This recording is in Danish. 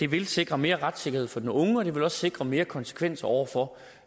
vil sikre mere retssikkerhed for den unge og sikre mere konsekvens over for